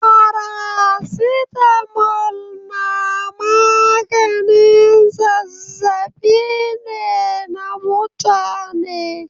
Faracitamol na maganin zazzaɓi ne na mutane.